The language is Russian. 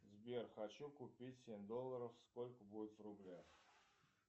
сбер хочу купить семь долларов сколько будет в рублях